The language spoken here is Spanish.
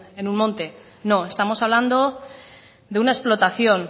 en un monte no estamos hablando de una explotación